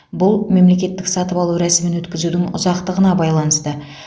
бұл мемлекеттік сатып алу рәсімін өткізудің ұзақтығына байланысты